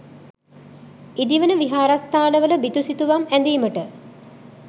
ඉදිවන විහාරස්ථානවල බිතු සිතුවම් ඇඳීමට